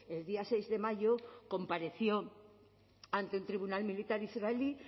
el día seis de mayo compareció ante el tribunal militar israelí